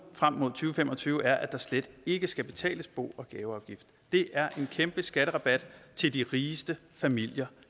frem mod to fem og tyve er at der slet ikke skal betales bo og gaveafgift det er en kæmpe skatterabat til de rigeste familier